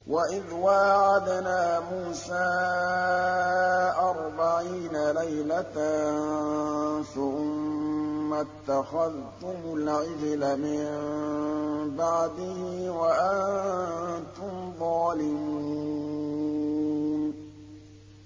وَإِذْ وَاعَدْنَا مُوسَىٰ أَرْبَعِينَ لَيْلَةً ثُمَّ اتَّخَذْتُمُ الْعِجْلَ مِن بَعْدِهِ وَأَنتُمْ ظَالِمُونَ